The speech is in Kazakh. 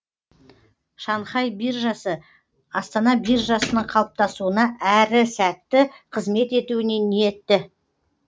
шанхай биржасы астана биржасының қалыптасуына әрі сәтті қызмет етуіне ниетті